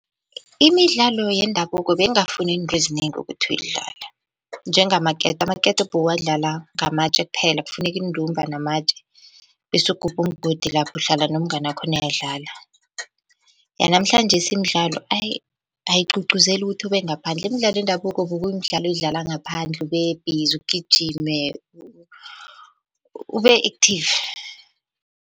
Imidlalo yendabuko beyingafuni izinto ezinengi ukuthi uyidlale, njengamaketo amaketo, amaketo bewuwadlala ngamatje kwaphela, kufuneka iintumba namatje bese ugubha umgodi lapha uhlala nomnganakho niyadlala. Yanamhlanjesi imidlalo ayi ayigcugcuzeli ukuthi ube ngaphandle, imidlalo yendabuko bekuyimdlalo edlala ngaphandle ube-busy ugijime, ube-active.